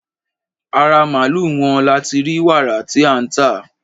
Ara màlúù wọn la ti rí wàrà tí à ń tà.